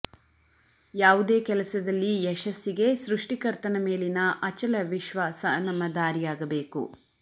ಯಾವುದೇ ಕೆಲಸದಲ್ಲಿ ಯಶಸ್ಸಿಗೆ ಸೃಷ್ಟಿಕರ್ತನ ಮೇಲಿನ ಅಚಲ ವಿಶ್ವಾಸ ನಮ್ಮ ದಾರಿಯಾಗಬೇಕು